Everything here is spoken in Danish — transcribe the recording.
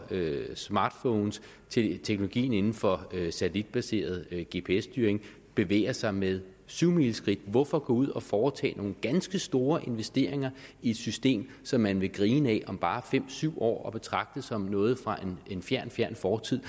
smartphones teknologien inden for satellitbaseret gps styring bevæger sig med syvmileskridt hvorfor gå ud og foretage nogle ganske store investeringer i et system som man vil grine ad om bare fem syv år og betragte som noget fra en fjern fjern fortid